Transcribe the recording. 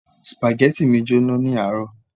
Spaghetti mi jóná ní àárọ̀